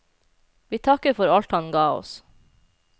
Vi takker for alt han ga oss.